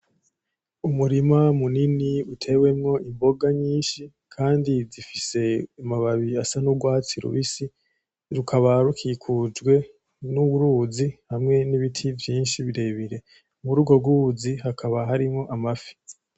Umurima munini utewemwo imboga nyinshi, kandi zifise amababi asa n'urwatsi rubisi, rukaba rukikujwe n'uruzi hamwe n'ibiti vyinshi birebire. Muri urwo ruzi hakaba harimwo amafi.